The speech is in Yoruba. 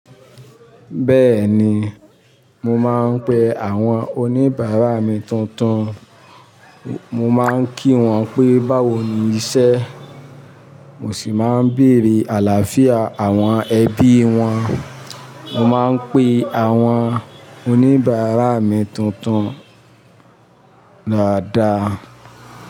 Bẹ́ẹ̀ni, mo máa ń pe àwọn oníbàárà mi tuntun. Mo máa ń kí wọn pé báwo ni iṣẹ́, mo sì máa ń bèrè àlàáfíà àwọn ẹbí wọn. Mo máa ń pe àwọn oníbàárà mi tuntun dáadáa.